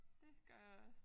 Det gør jeg også